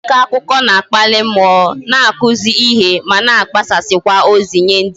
Iko akụkọ na-akpali mmụọ, na-akụzi ihe ma na agbasazikwa ozi nye ndi ngere